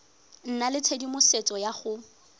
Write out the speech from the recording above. nna le tshedimosetso ya go